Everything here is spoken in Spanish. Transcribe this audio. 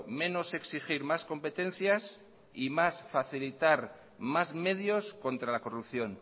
menos exigir más competencias y más facilitar más medios contra la corrupción